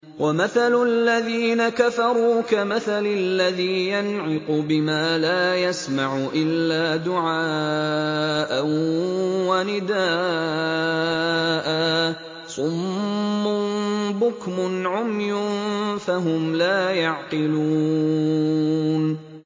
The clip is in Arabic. وَمَثَلُ الَّذِينَ كَفَرُوا كَمَثَلِ الَّذِي يَنْعِقُ بِمَا لَا يَسْمَعُ إِلَّا دُعَاءً وَنِدَاءً ۚ صُمٌّ بُكْمٌ عُمْيٌ فَهُمْ لَا يَعْقِلُونَ